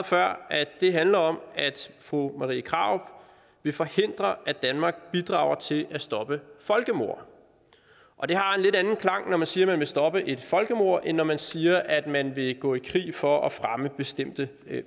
svar at det handler om at fru marie krarup vil forhindre at danmark bidrager til at stoppe folkemord og det har en lidt anden klang når man siger at man vil stoppe et folkemord end når man siger at man vil gå i krig for at fremme bestemte